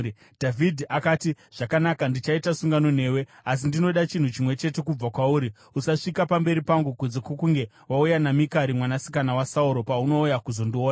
Dhavhidhi akati, “Zvakanaka, ndichaita sungano newe. Asi ndinoda chinhu chimwe chete kubva kwauri: Usasvika pamberi pangu kunze kwokunge wauya naMikari mwanasikana waSauro paunouya kuzondiona.”